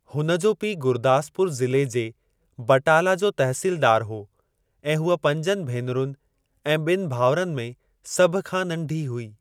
हुन जो पीउ गुरदासपुर ज़िले जे बटाला जो तहसीलदारु हो ऐं हूअ पंजनि भेनरुनि ऐं ॿिनि भाउरनि में सभ खां नंढी हुई।